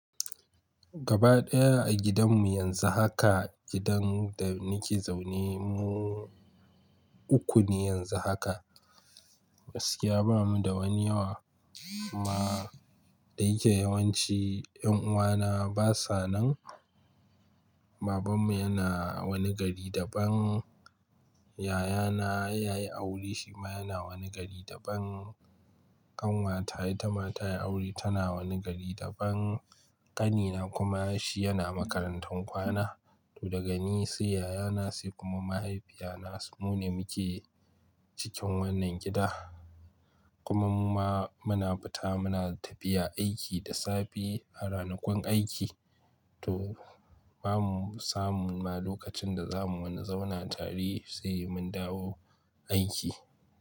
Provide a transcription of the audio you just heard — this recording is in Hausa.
Gaba ɗaya a gidanmu yanzu haka, gidan da nike zaune mu uku ne yanzu haka. Gaski ya bamu da wani yawa, amma da yake yawanci 'yan uwana basa nan. Babanmu yana wani gari daban, yayana ya yi aure shi ma yana wani gari daban. Kanwata ita ma ta yi aure tana wani gari daban. Ƙanina kuma shi yana makarantan kwana. To daga ni sai yayana sai kuma mahaifiyana, mu ne muke cikin wannan gida. Kuma muna fita muna tafiya aiki da safe a ranakun aiki. To bamu samu ma lokacin da zamu wani zauna tare sai mun dawo aiki.